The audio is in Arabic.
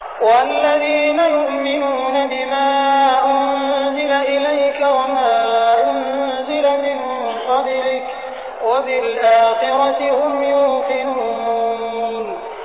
وَالَّذِينَ يُؤْمِنُونَ بِمَا أُنزِلَ إِلَيْكَ وَمَا أُنزِلَ مِن قَبْلِكَ وَبِالْآخِرَةِ هُمْ يُوقِنُونَ